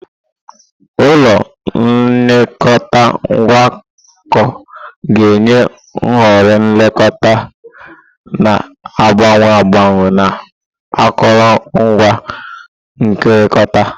Ụlọ nlekọta ngwakọ ga-enye nhọrọ nlekọta na-agbanwe agbanwe na akụrụngwa nkekọrịta.